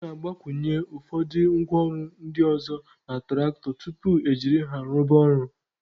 A na-agbakwụnye ụfọdụ ngwa ọrụ ndị ọzọ na tụractọ tupu e jiri ha rụba ọrụ